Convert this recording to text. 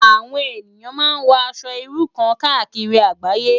Awòn éniyán má n wò Aṣò irú kàn kàákiri àgbáyé